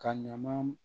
Ka ɲama